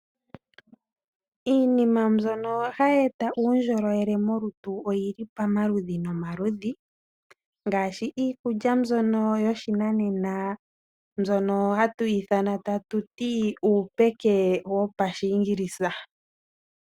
Iinima mbyono hayi eta uundjolowele molutu oyili pamaludhi ogendji ngaashi, iikulya mbyoka yoshinanena hatu yi ithana ta tuti uupeke wopashiingilisa.